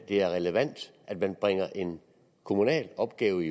er relevant at man bringer en kommunal opgave